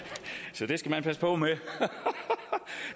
så det skal man passe på med